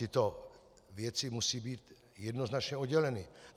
Tyto věci musí být jednoznačně odděleny.